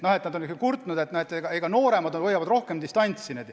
Nad on kurtnud, et nooremad hoiavad rohkem distantsi.